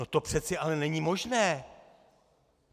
No to přece ale není možné!